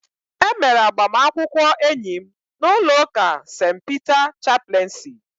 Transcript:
E mere agbamakwụkwọ enyi m n'ụlọ ụka St. Peter chapleensi